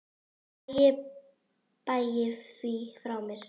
Æ ég bægi því frá mér.